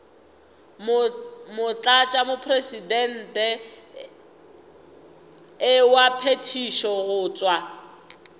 motlatšamopresidente wa phethišo go tšwa